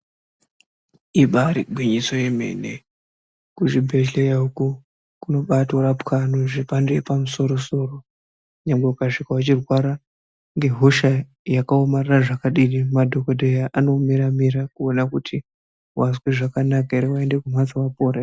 Ibari gwinyiso remene kuti kuzvibhedhlera uko kobatorapwa zvemhando yepamusoro -soro nyangwe ukasvika weirwara nehosha yakaomarara zvakadii madhokodheya anomira-mira kuona kuti wazwa zvakanaka ere waenda kumhatso wapora ere.